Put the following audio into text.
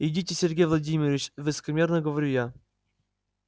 идите сергей владимирович высокомерно говорю я